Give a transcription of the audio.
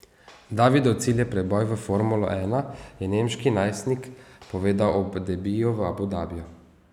Davidov cilj je preboj v formulo ena, je nemški najstnik povedal ob debiju v Abu Dabiju.